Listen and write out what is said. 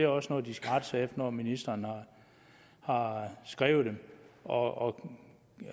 også noget de skal rette sig når ministeren har skrevet det og